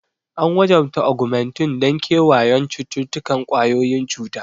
An wajabta Augmentin don kewayon cututtukan ƙwayoyin cuta.